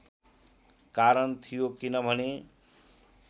कारण थियो किनभने